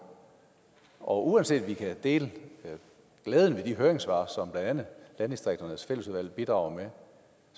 og uanset om vi kan dele glæden ved de høringssvar som blandt andet landdistrikternes fællesråd bidrager